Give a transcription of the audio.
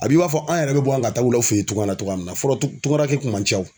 A b'i b'a fɔ an yɛrɛ bɛ bɔ yan ka taa wula fɛ yen cogoya min na fɔlɔ tunkarakɛ kun man ca wo.